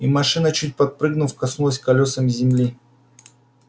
и машина чуть подпрыгнув коснулась колёсами земли